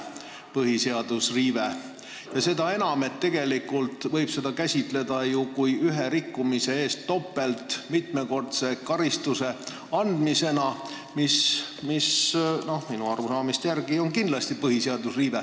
Seda enam, et tegelikult võib seda käsitada mitmekordse karistamisena ühe rikkumise eest, mis minu arusaamise järgi on kindlasti põhiseaduse riive.